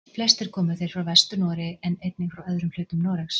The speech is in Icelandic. Flestir komu þeir frá Vestur-Noregi en einnig frá öðrum hlutum Noregs.